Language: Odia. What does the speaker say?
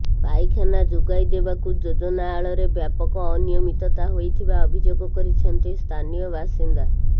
ପାଇଖାନା ଯୋଗାଇ ଦେବାକୁ ଯୋଜନା ଆଳରେ ବ୍ୟାପକ ଅନିୟମିତତା ହୋଇଥିବା ଅଭିଯୋଗ କରିଛନ୍ତି ସ୍ଥାନୀୟ ବାସିନ୍ଦା